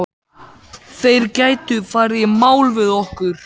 Þeir gætu farið í mál við okkur.